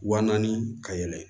Wa naani ka yɛlɛn